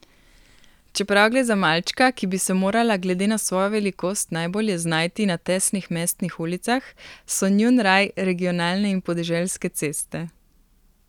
Čeprav gre za malčka, ki bi se morala glede na svojo velikost najbolje znajti na tesnih mestnih ulicah, so njun raj regionalne in podeželske ceste.